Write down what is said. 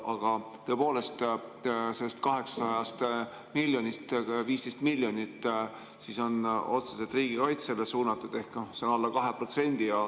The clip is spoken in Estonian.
Aga tõepoolest, sellest 800 miljonist 15 miljonit on otseselt riigikaitsele suunatud, ehk see on alla 2%.